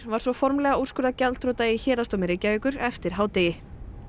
var svo formlega úrskurðað gjaldþrota í Héraðsdómi Reykjavíkur eftir hádegið